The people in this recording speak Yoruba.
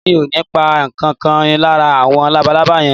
Mi ò ní pa ǹkan kan lára àwọn labalábá yẹn